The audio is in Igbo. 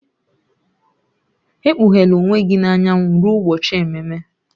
Ekpughela onwe gị n'anyanwụ ruo ụbọchị ememe